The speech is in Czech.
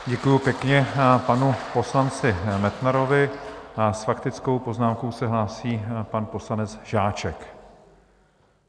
Děkuji pěkně panu poslanci Metnarovi a s faktickou poznámkou se hlásí pan poslanec Žáček.